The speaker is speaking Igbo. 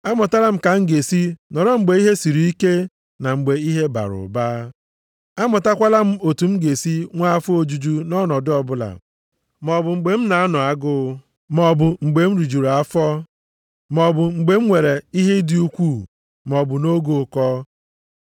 Amụtala m otu m ga-esi nọrọ mgbe ihe siri ike na mgbe ihe bara ụba. Amụtakwala m otu m ga-esi nwee afọ ojuju nʼọnọdụ ọbụla, maọbụ mgbe m na-anọ agụụ, maọbụ mgbe m rijuru afọ, maọbụ mgbe m nwere ihe dị ukwuu maọbụ nʼoge ụkọ.